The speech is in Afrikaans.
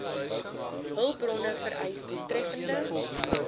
hulpbronne vereis doeltreffende